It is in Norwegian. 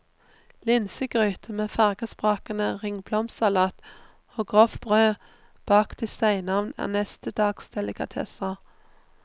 Linsegryte med fargesprakende ringblomstsalat og grovt brød bakt i steinovn er neste dags delikatesser.